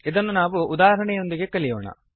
ಇದನ್ನು ನಾವು ಉದಾಹರಣೆಯೊಂದಿಗೆ ಕಲಿಯೋಣ